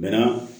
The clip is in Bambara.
Bɛnna